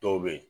Dɔw bɛ yen